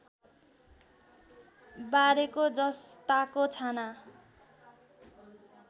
बारेको जसताको छाना